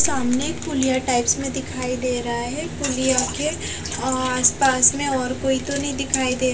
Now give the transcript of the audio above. सामने पुलिया टाइप्स में दिखाई दे रहा है पुलिया के आस पास में और कोई तो नहीं दिखाई दे--